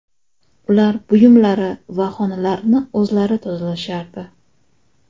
Ular buyumlari va xonalarini o‘zlari tozalashardi.